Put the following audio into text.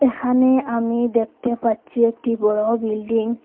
এখানে আমি দেখতে পাচ্ছি একটি বড়ো বিল্ডিং ।